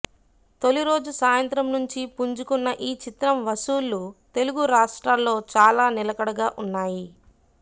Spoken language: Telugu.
తొలి రోజు సాయంత్రం నుంచి పుంజుకున్న ఈ చిత్రం వసూళ్లు తెలుగు రాష్ట్రాల్లో చాలా నిలకడగా వున్నాయి